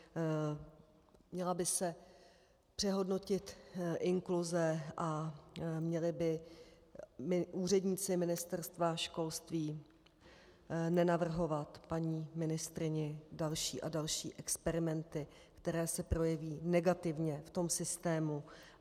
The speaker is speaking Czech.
Měla by se přehodnotit inkluze a měli by úředníci Ministerstva školství nenavrhovat paní ministryni další a další experimenty, které se projeví negativně v tom systému.